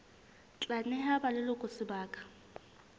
tla neha ba leloko sebaka